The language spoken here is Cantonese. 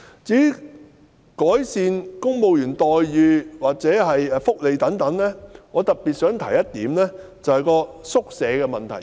至於改善公務員待遇或福利等方面，我特別想指出一點，即宿舍的問題。